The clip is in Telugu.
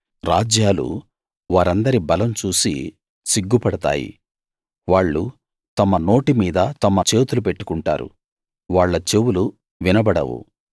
రాజ్యాలు వారందరి బలం చూసి సిగ్గుపడతాయి వాళ్ళు తమ నోటిమీద తమ చేతులు పెట్టుకుంటారు వాళ్ళ చెవులు వినబడవు